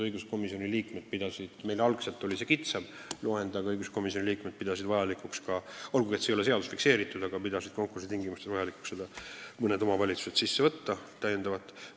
Algselt oli meil lühem nimekiri, aga õiguskomisjoni liikmed pidasid vajalikuks, olgugi et see ei ole seaduses fikseeritud, lisada konkursi tingimustesse mõned täiendavad omavalitsused või asulad.